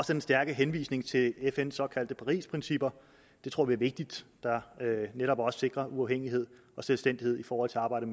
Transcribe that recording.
den stærke henvisning til fns såkaldte parisprincipper det tror vi er vigtigt der netop også sikrer uafhængighed og selvstændighed i forhold til arbejdet